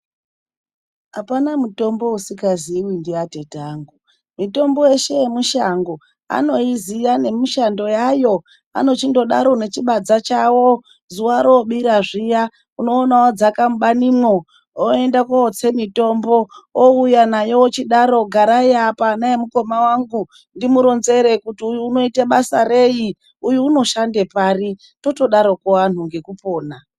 Apana mitombo isikaziiwi ndiatete angu mitombo yeshe yemishango anoziya nemishando yayo. Anochindodaro ngechibadza chawo zuva roobira zviya. Unooma oodzaka mubanimwo oenda kuotsa mitombo, ouya nayo ochidaro garai apa ana emukoma wangu ndimuronzere kuti uyu unoite basa reyi, uyu unoshande pari. Totodaroko anhu ngekupona.